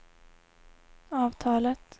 avtalet